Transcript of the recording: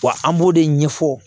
Wa an b'o de ɲɛfɔ